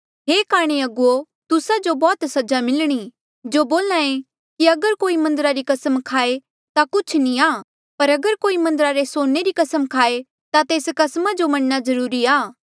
हे काणे अगुवो तुस्सा जो बौह्त सजा मिलणी जो बोल्हा ऐें कि अगर कोई मन्दरा री कसम खाये ता कुछ नी आ पर अगर कोई मन्दरा रे सोने री कसम खाए ता तेस कस्मा जो मनणा जरूरी आ